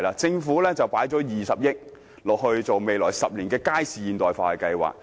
政府投放了20億元，在未來10年進行街市現代化計劃。